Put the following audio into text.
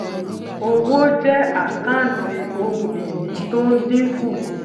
owó jẹ àkántì ohun ìní to ń dínkù